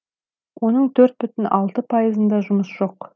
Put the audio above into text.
оның төрт бүтін алты пайызында жұмыс жоқ